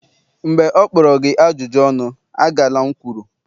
mgbe ọ kpọrọ gị ajụjụ ọnụ, agala m kwuru!